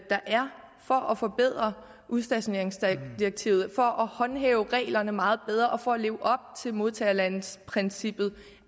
er for at forbedre udstationeringsdirektivet for at håndhæve reglerne meget bedre og for at leve op til modtagerlandsprincippet